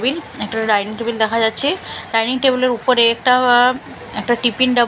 table একটা dining table দেখা যাচ্ছে ডাইনিং টেবিল -এর উপরে একটা একটা টিফিন ডাব--